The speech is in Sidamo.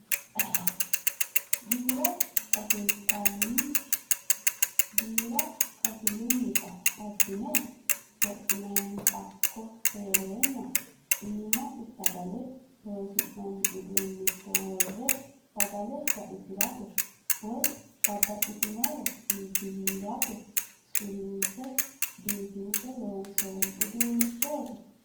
Giira kashilutta abbine wodhine hakko heerenna iimasi sagale loosi'nanni uduuncho worre sagale raisirate woyi babbaxxinore iibbiwhirate suwinse biifinse loonsonni uduunchoti.